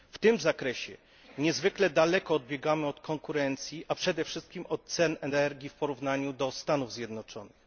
W tym zakresie niezwykle daleko odbiegamy od konkurencji, a przede wszystkim od cen energii w porównaniu do Stanów Zjednoczonych.